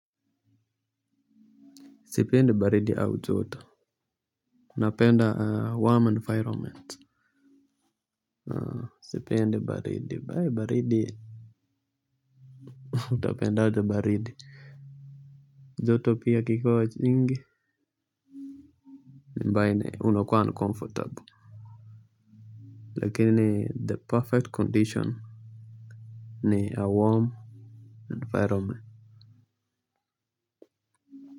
Sipendi baridi au joto napenda warm environment sipendi baridi baridi utapendajy baridi joto pia ikikuwa wa nyingi ambaye unakuwa uncomfortable. Lakini the perfect condition ni a warm environment.